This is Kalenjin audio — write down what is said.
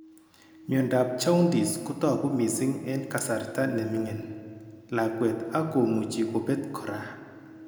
Miondop jaundice kotogu mising eng' kasarta neming'in lakwet ak komuchi kobet kora